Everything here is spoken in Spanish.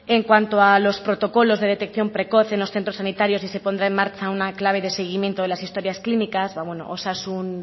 en cuanto a los protocolos de detección precoz en los centros sanitarios sí se pondrá en marcha una clave de seguimiento en las historias clínicas osasun